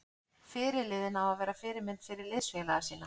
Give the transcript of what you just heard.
Fyrirliði á að vera fyrirmynd fyrir liðsfélaga sína.